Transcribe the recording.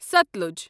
Sutlej